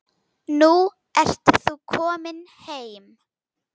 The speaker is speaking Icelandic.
Nú ert þú komin heim.